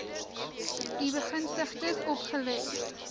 u begunstigdes opgelê